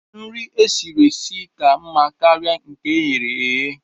Nri e siri esi dị mma karịa nke eghere eghe.